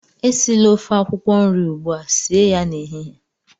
Esila ofe akwụkwọ nri ugbua, sie ya n'ehihie!